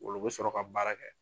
Olu be sɔrɔ ka baara kɛ.